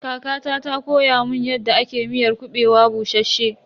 Kakata ta koya mun yadda ake miyar kuɓewa bushasshe.